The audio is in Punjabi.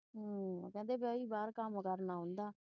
ਅਹ ਕਹਿੰਦੇ ਬਈ ਬਾਹਰ ਕੰਮ ਕਰਨਾ ਆਉਂਦਾ।